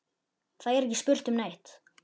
Það er ekki spurt um neitt.